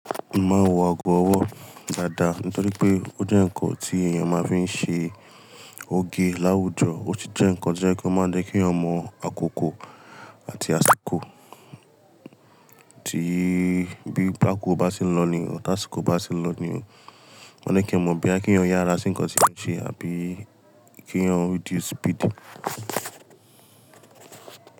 Mo ma n wọ ago ọwọ́ dáadáa nítorí pé ó jẹ́ ǹkan tí èèyàn máa ń fi ṣe oge láwùjọ o tun jẹ́ ǹkan jẹ́ kó máa jẹ́kìí eyan mọ àkókò àti àsìkò tí bí bákó bá se n lọ ní o, táìsìkò bá ti lọ ní o, wọ́n ní kí ẹ mọ̀ bí a kí eyan yára sí nǹkan tí wọ́n ṣe àbí kí wọn reduce speed.